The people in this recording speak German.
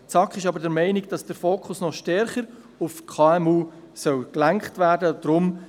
Die SAK ist jedoch der Meinung, dass der Fokus noch stärker auf die KMU gelenkt werden soll.